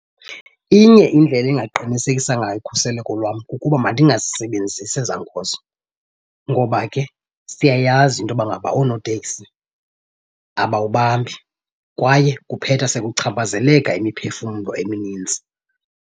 Inye indlela engaqinisekisa ngayo ukhuseleko lwam kukuba mandingazisebenzisi ezaa nkonzo ngoba ke siyayazi into yoba ngaba oonoteksi abawubambi kwaye kuphetha sekuchaphazeleka imiphefumlo eminintsi.